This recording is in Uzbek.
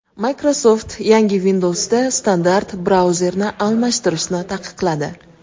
Microsoft yangi Windows’da standart brauzerni almashtirishni taqiqladi.